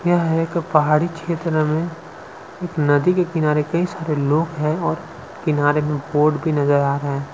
यह एक पहाड़ी क्षेत्र में एक नदी के किनारे कई सारे लोग हैऔर किनारे में बोट भी नज़र आ रहा है।